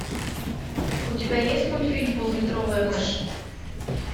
у тебя есть мультфильм поллитровая мышь